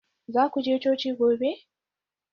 Za ku je coci gobe?